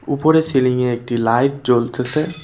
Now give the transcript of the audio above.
উপরে সিলিংয়ে একটি লাইট জ্বলতেসে।